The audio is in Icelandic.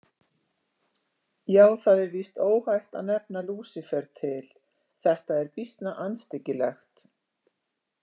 Já, það er víst óhætt að nefna Lúsífer til, þetta er býsna andstyggilegt.